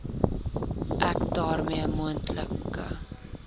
ek daarmee moontlike